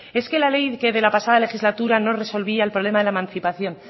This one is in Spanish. es que la ley que de la pasada legislatura no resolvía el problema de la emancipación